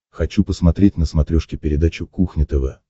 хочу посмотреть на смотрешке передачу кухня тв